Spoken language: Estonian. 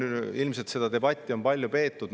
Ilmselt on seda debatti palju peetud.